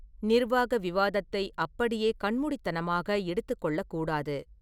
நிர்வாக விவாதத்தை அப்படியே கண்மூடித்தனமாக எடுத்துக்கொள்ளக் கூடாது.